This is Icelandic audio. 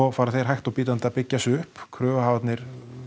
fara þeir hægt og bítandi að byggja sig upp kröfuhafarnir